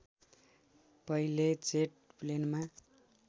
पहिले जेट प्लेनमा